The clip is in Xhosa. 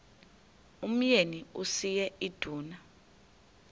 umyeni uyise iduna